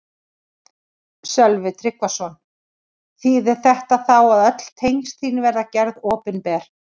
Sölvi Tryggvason: Þýðir þetta þá að öll tengsl þín verða gerð opinber?